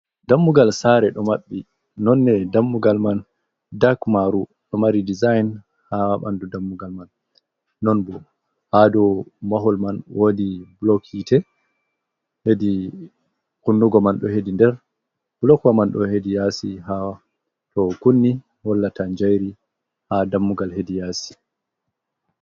Dammugal saare ɗo maɓɓi, nonnde dammugal man dak maaru, ɗo mari dezaayn haa ɓanndu dammugal man, non boo haa dow mahol man woodi bulok hiite, hedi kunnugo man ɗo hedi yaasi to kunni hollata njayri haa dammugal hedi yaasi.